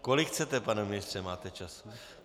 Kolik chcete, pane ministře, máte času.